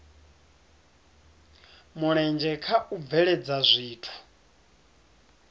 mulenzhe kha u bveledza zwithu